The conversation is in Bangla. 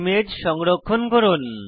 ইমেজ সংরক্ষণ করুন